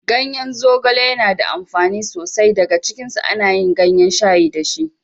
Ganyen zogale yana da amfani so sai. Daga cikinsu ana yin gayen shayi da shi.